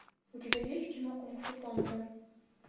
у тебя есть кино кунг фу панда